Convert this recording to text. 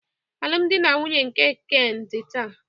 Alụmdi na nwunye nke Kene dị taa